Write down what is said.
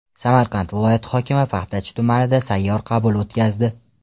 Samarqand viloyati hokimi Paxtachi tumanida sayyor qabul o‘tkazdi.